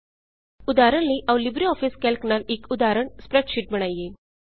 ਉਦਾਹਰਣ ਲਈ ਆਉ ਲਿਬ੍ਰੇ ਆਫਿਸ ਕੈਲਕ ਨਾਲ ਇੱਕ ਉਦਾਹਰਣ ਸਪ੍ਰੈਡਸ਼ੀਟ ਬਣਾਈਏ